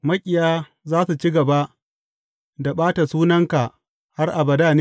Maƙiya za su ci gaba da ɓata sunanka har abada ne?